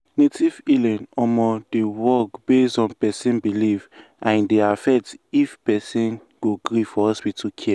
native healing um dey um work based on person belief and e dey affect if person go gree for hospital care.